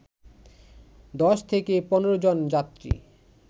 ১০ থেকে ১৫ জন যাত্রী